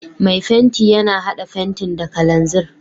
Mai fenti yana hada fenti da kananzir.